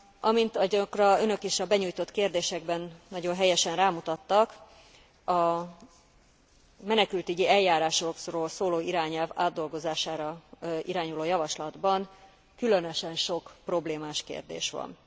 Amint arra önök is a benyújtott kérdésekben nagyon helyesen rámutattak, a menekültügyi eljárásról szóló irányelv átdolgozására irányuló javaslatban különösen sok problémás kérdés van.